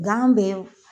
Gan bɛ